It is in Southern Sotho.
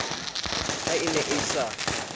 ha e ne e sa